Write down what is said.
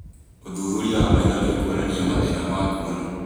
ũthuthuria wa maitho nĩũkuonania mathĩna ma kuona